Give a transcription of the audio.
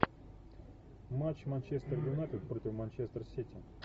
матч манчестер юнайтед против манчестер сити